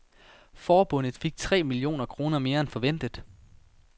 Forbundet fik tre millioner kroner mere end forventet.